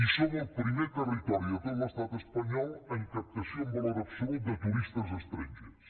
i som el primer territori de tot l’estat espanyol en captació en valor absolut de turistes estrangers